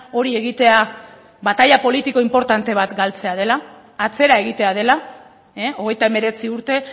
hori egitea bataila politiko inportante bat galtzea dela atzera egitea dela hogeita hemeretzi urte